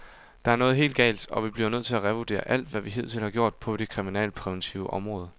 Der er noget helt galt, og vi bliver nødt til at revurdere alt, hvad vi hidtil har gjort på det kriminalpræventive område.